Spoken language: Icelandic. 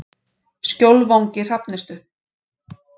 Skjólvangi Hrafnistu